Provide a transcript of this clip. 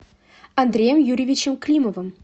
андреем юрьевичем климовым